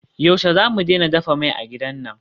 Yaushe zamu daina dafa mai a gidan nan?